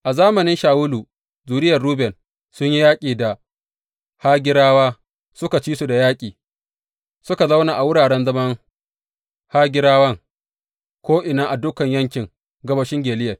A zamanin Shawulu zuriyar Ruben sun yi yaƙi da Hagirawa, suka ci su da yaƙi, suka zauna a wuraren zaman Hagirawan ko’ina a dukan yankin gabashin Gileyad.